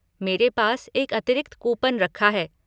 मेरे पास एक अतिरिक्त कूपन रखा है।